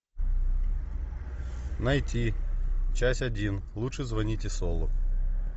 найти часть один лучше звоните солу